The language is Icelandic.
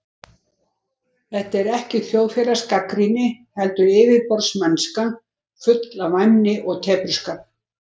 Þetta er ekki þjóðfélagsgagnrýni, heldur yfirborðsmennska, full af væmni og tepruskap.